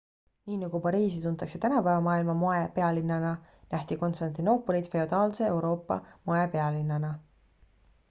nii nagu pariisi tuntakse tänapäeva maailma moepealinnana nähti konstantinoopolit feodaalse euroopa moepealinnana